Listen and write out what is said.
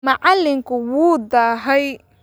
Macalinku wuu daahay.